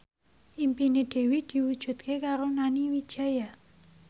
impine Dewi diwujudke karo Nani Wijaya